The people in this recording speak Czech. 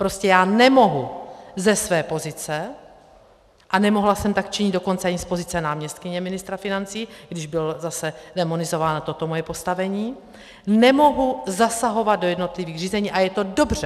Prostě já nemohu ze své pozice, a nemohla jsem tak činit dokonce ani z pozice náměstkyně ministra financí, když bylo zase démonizováno toto moje postavení, nemohu zasahovat do jednotlivých řízení, a je to dobře!